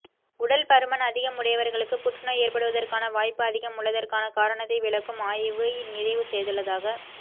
உடல் பருமன் அதிகமுடையவர்களுக்கு புற்றுநோய் ஏற்படுவதற்கான வாய்ப்பு அதிகம் உள்ளதற்கான காரணத்தை விளக்கும் ஆய்வை நிறைவு செய்துள்ளதாக